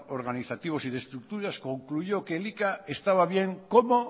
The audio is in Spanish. organizativos y de estructuras concluyó que elika estaba bien cómo